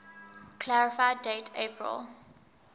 clarify date april